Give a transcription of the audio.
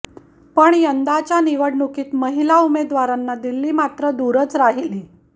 पण यंदाच्या निवडणुकीत महिला उमेदवारांना दिल्ली मात्र दूरच राहिली